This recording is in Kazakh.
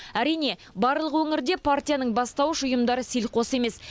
әрине барлық өңірде партияның бастауыш ұйымдары селқос емес